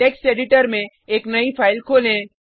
text editor में एक नई फाइल खोलें